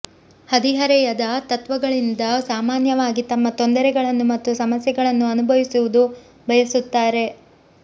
ಹದಿಹರೆಯದ ತತ್ತ್ವಗಳಿಂದ ಸಾಮಾನ್ಯವಾಗಿ ತಮ್ಮ ತೊಂದರೆಗಳನ್ನು ಮತ್ತು ಸಮಸ್ಯೆಗಳನ್ನು ಅನುಭವಿಸುವುದು ಬಯಸುತ್ತಾರೆ